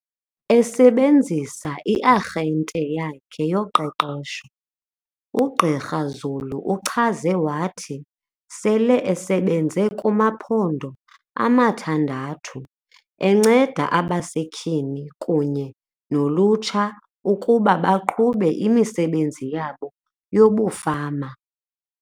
Esebenzisa i-arhente yakhe yoqeqesho, uGqr Zulu uchaze wathi sele esebenze kumaphondo amathandathu, enceda abasetyhini kunye nolutsha ukuba baqhube imisebenzi yabo yobufama.